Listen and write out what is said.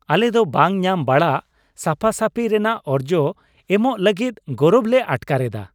ᱟᱞᱮ ᱫᱚ ᱵᱟᱝ ᱧᱟᱢᱵᱟᱲᱟᱜ ᱥᱟᱯᱟᱥᱟᱹᱯᱷᱤ ᱨᱮᱱᱟᱜ ᱚᱨᱡᱚ ᱮᱢᱚᱜ ᱞᱟᱹᱜᱤᱫ ᱜᱚᱨᱚᱵ ᱞᱮ ᱟᱴᱠᱟᱨ ᱮᱫᱟ ᱾